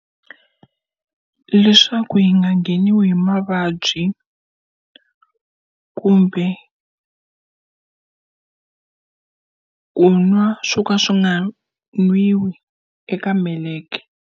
Leswaku hi nga ngheniwi hi mavabyi kumbe ku nwa suka swi nga nwiwi eka meleke.